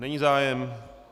Není zájem.